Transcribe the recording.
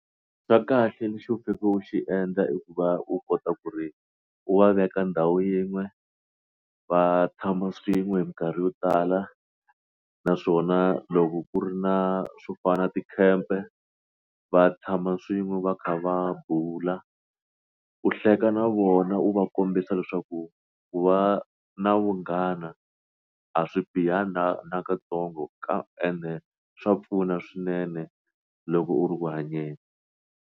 Xa kahle lexi faneleke u xi endla i ku va u kota ku ri u va veka ndhawu yin'we va tshama swin'we hi minkarhi yo tala naswona loko ku ri na swo fana na tikhempe va tshama swin'we va kha va bula u hleka na vona wu va kombisa leswaku ku va na vunghana a swi bihanga na katsongo ende swa pfuna swinene loko u ri ku hanyeni.